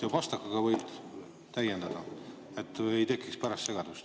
Pastakaga võib täiendada, et ei tekiks pärast segadust.